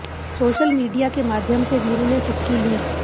social media के माध्यम से वीरू ने चुटकी ली